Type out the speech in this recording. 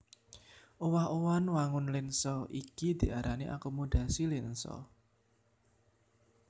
Owah owahan wangun lènsa iki diarani akomodasi lènsa